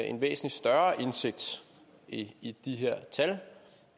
en væsentlig større indsigt i de her tal